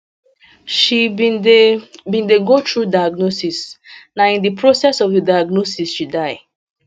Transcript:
she bin dey bin dey go through diagnosis na in di process of di diagnosis she die